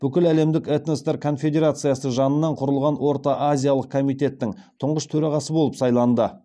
бүкіләлемдік этноспорт конфедерациясы жанынан құрылған орта азиялық комитеттің тұңғыш төрағасы болып сайланды